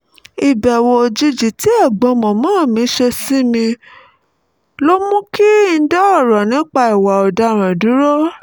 ìbẹ̀wò òjijì tí ẹ̀gbọ́n màmá mi ṣe sí mi mú kí n dá ọ̀rọ̀ nípa ìwà ọ̀daràn dúró